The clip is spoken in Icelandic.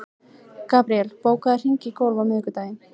Gabríel, bókaðu hring í golf á miðvikudaginn.